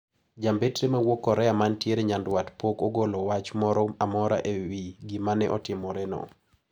Jombetre mawuok Korea mantie nyanduat pok ogolo wach moro amora e wi gima ne otimoreno.